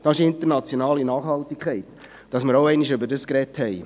Das ist internationale Nachhaltigkeit – damit wir auch einmal darüber gesprochen haben.